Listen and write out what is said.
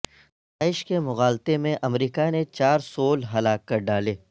داعش کے مغالطے میں امریکہ نے چار سول ہلاک کر ڈالے